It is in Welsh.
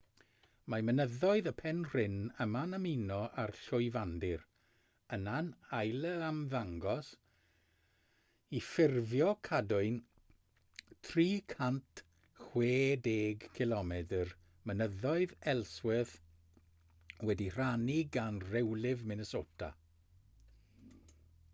mae mynyddoedd y penrhyn yma'n ymuno â'r llwyfandir yna'n ailymddangos i ffurfio cadwyn 360 cilomedr mynyddoedd ellsworth wedi'i rhannu gan rewlif minnesota